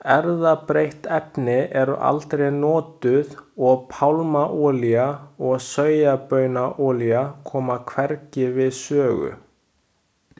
Erfðabreytt efni eru aldrei notuð og pálmaolía og sojabaunaolía koma hvergi við sögu.